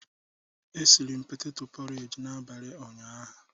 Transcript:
E siri m petetọ pọreji n'abalị ụnyaahụ.